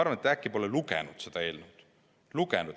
Ma arvan, et äkki te polegi seda eelnõu lugenud.